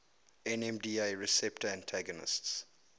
nmda receptor antagonists